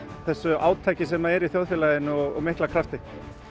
þessu átaki sem er almennt í þjóðfélaginu og mikla krafti